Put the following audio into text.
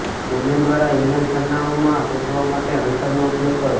domain દ્વારા email સરનામાંઓ શોધવા માટે હન્ટરનો ઉપયોગ કરો